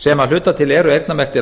sem að hluta til eru eyrnamerktir